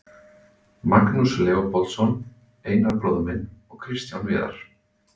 Magnús Leópoldsson, Einar bróðir minn og Kristján Viðar.